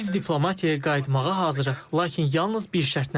Biz diplomatiyaya qayıtmağa hazırıq, lakin yalnız bir şərtlə.